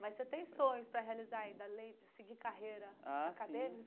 Mas você tem sonhos para realizar ainda, além de seguir carreira acadêmica?